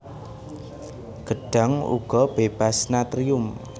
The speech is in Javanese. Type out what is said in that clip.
Gedhang uga bébas natrium